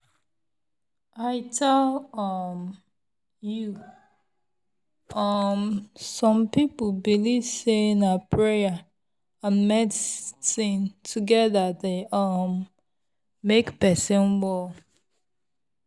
i tell um you! um some people believe say na prayer and medicine together dey um make person well.